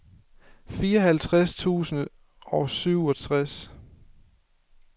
fireoghalvtreds tusind og syvogtres